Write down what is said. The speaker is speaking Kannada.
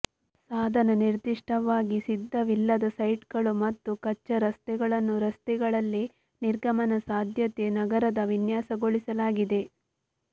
ಸಾಧನ ನಿರ್ದಿಷ್ಟವಾಗಿ ಸಿದ್ಧವಿಲ್ಲದ ಸೈಟ್ಗಳು ಮತ್ತು ಕಚ್ಚಾ ರಸ್ತೆಗಳನ್ನು ರಸ್ತೆಗಳಲ್ಲಿ ನಿರ್ಗಮನ ಸಾಧ್ಯತೆ ನಗರದ ವಿನ್ಯಾಸಗೊಳಿಸಲಾಗಿದೆ